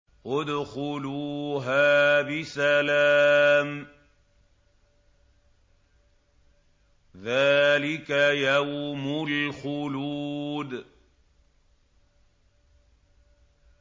ادْخُلُوهَا بِسَلَامٍ ۖ ذَٰلِكَ يَوْمُ الْخُلُودِ